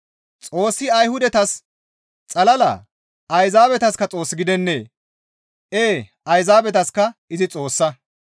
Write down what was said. Xoossi Ayhudatas xallaa? Ayzaabetaska Xoos gidennee? Ee Ayzaabetaska izi Xoossa.